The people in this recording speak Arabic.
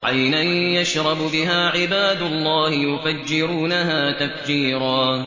عَيْنًا يَشْرَبُ بِهَا عِبَادُ اللَّهِ يُفَجِّرُونَهَا تَفْجِيرًا